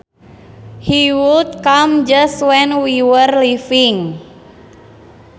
He would come just when we were leaving